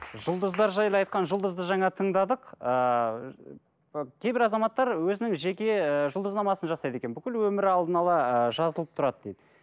жұлдыздар жайлы айтқан жұлдызды жаңа тыңдадық ыыы кейбір азаматтар өзінің жеке ыыы жұлдызнамасын жасайды екен бүкіл өмірі алдында ала ы жазылып тұрады дейді